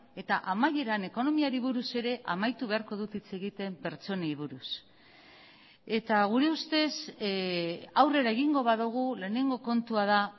eta amaieran ekonomiari buruz ere amaitu beharko dut hitz egiten pertsonei buruz eta gure ustez aurrera egingo badugu lehenengo kontua da